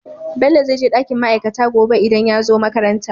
Bello zai je dakin ma'aikata gobe idan yazo makaranta